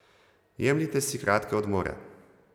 Jemljite si kratke odmore.